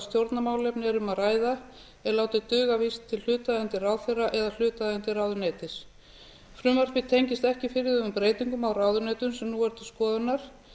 stjórnarmálefni er um að ræða er látið duga að vísa til hlutaðeigandi ráðherra eða hlutaðeigandi ráðuneytis frumvarpið tengist ekki fyrirhuguðum breytingum á ráðuneytum sem nú eru til skoðunar